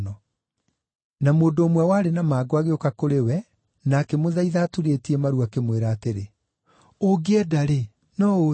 Na mũndũ ũmwe warĩ na mangũ agĩũka kũrĩ we na akĩmũthaitha aturĩtie maru, akĩmwĩra atĩrĩ, “Ũngĩenda-rĩ, no ũũtherie.”